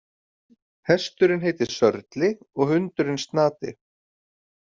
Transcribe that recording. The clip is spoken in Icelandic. Hesturinn heitir Sörli og hundurinn Snati.